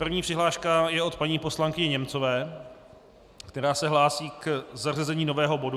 První přihláška je od paní poslankyně Němcové, která se hlásí k zařazení nového bodu.